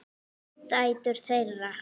Dætur þeirra